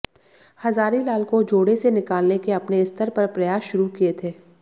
हजारीलाल को जोड़े से निकालने के अपने स्तर पर प्रयास शुरू किए थे